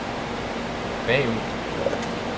bagud